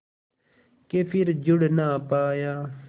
के फिर जुड़ ना पाया